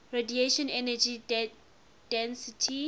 radiation energy density